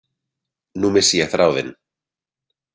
Nú missi ég þráðinn.